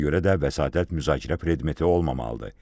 Ona görə də vəsatət müzakirə predmeti olmamalıdır.